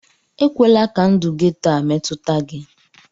Ekwela ka ndụ getoo a metụta gị!